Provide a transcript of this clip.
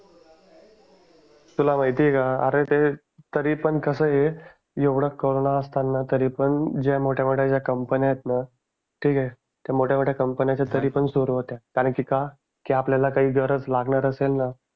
तुला माहिती आहे का अरे ते तरीपण कसं आहे. एवढं कोरोंना असताना तरीपण ज्या मोठ्या मोठ्या कंपन्या आहेत ना ठीक आहे त्या मोठ्या मोठ्या कंपन्या त्या तिरीपण सुरु होत्या कारण की का की आपल्याला काही गरज लागणार असेल ना